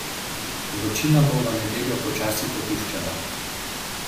Vročina bo v nedeljo počasi popuščala.